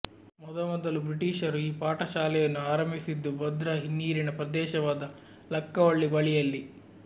ಮೊದಮೊದಲು ಬ್ರಿಟೀಷರು ಈ ಪಾಠಶಾಲೆಯನ್ನು ಆರಂಭಿಸಿದ್ದು ಭದ್ರಾ ಹಿನ್ನೀರಿನ ಪ್ರದೇಶವಾದ ಲಕ್ಕವಳ್ಳಿ ಬಳಿಯಲ್ಲಿ